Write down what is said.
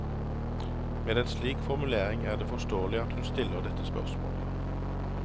Med en slik formulering er det forståelig at hun stiller dette spørsmålet.